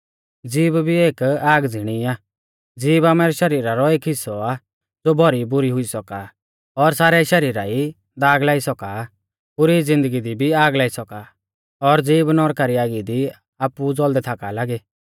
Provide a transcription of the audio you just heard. ज़ीभ भी एक आग ज़िणी आ ज़ीभ आमारै शरीरा रौ एक हिस्सौ आ ज़ो भौरी बुरौ हुई सौका आ और सारै शरीरा ई दाग लाई सौका पुरी ज़िन्दगी दी भी आग लाई सौका और ज़ीभ नौरका री आगी दी आपु ऊ ज़ौल़दै थाका लागी